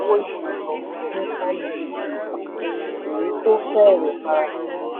òwò ìmọ̀ ẹ̀rọ ní kano èyí tó fẹ́rẹ̀ẹ́ farasin.